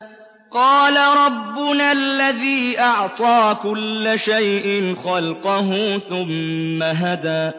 قَالَ رَبُّنَا الَّذِي أَعْطَىٰ كُلَّ شَيْءٍ خَلْقَهُ ثُمَّ هَدَىٰ